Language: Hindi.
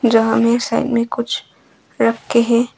जहां में साइड में कुछ रखे हैं।